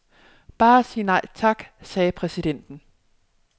Bare sig nej tak, sagde præsidenten.